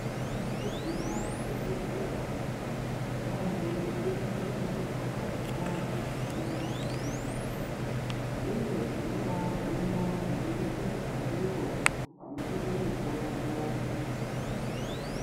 Wakamboguma kuchibhedhleya ere vantu vekuchibhedhleya vanobabata antu zvakanaka maningi uye tinobahinwa kubudikidza ndivo vanotipe mutombo.